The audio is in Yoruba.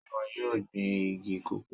Sé ìwọ yóò gbin igi cocoa?